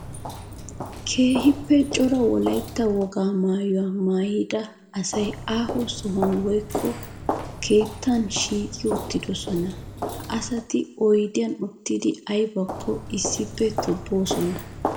Keehippe cora wolaytta wogaa maayuwa maayidda issi aaho sohuwan woykko keettan shiiqi uttidosonna. Ha asatti oyddiyan uttiddi aybbakko issippe tobbosonna.